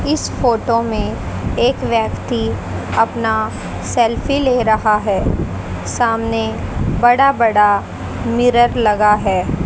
इस फोटो में एक व्यक्ति अपना सेल्फी ले रहा है सामने बड़ा बड़ा मिरर लगा है।